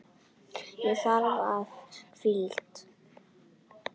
Og ég þarf hvíld.